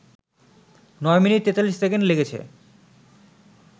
নয় minute ৪৩ second লেগেছে